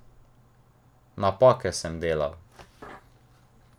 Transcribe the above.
Napake sem delal.